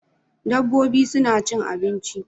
Dabbobi suna cin abinci